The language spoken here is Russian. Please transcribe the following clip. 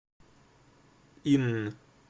инн